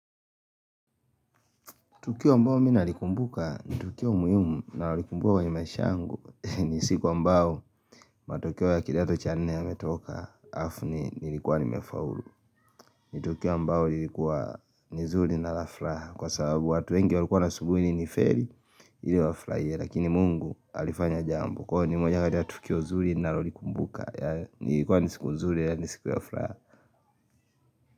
Tukio ambao mimi nalikumbuka ni tukio muhimu nalikumbuka kwenye maisha yangu ni siku ambao matokeo ya kidato cha nne yametoka hafu nilikuwa nimefaulu ni tukio mbao lilikuwa ni zuri na la fraha kwa sababu watu wengi walikuwa na subiri ni feli ili wafrahie lakini Mungu alifanya jambo kwa ni moja kati ya tukio zuri ninalolikumbuka nilikuwa ni siku nzuri nalafraha.